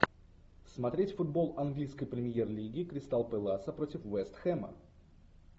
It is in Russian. смотреть футбол английской премьер лиги кристал пэласа против вест хэма